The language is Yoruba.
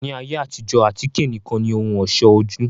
Ni ayé àtijọ́, àtíké nìkan ni ohùn ọ̀ṣọ́ ojú